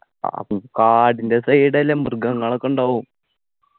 കാടിൻ്റെ side അല്ലേ മൃഗങ്ങളൊക്കെണ്ടാവും